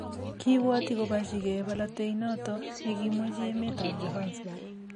kiibwoti koborchigei bolotee inete ni kimwechi emetab Johanesburg